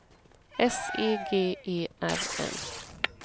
S E G E R N